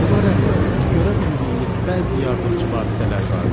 Buna rəğmən görə bildiyimiz bəzi yardımçı vasitələr vardı.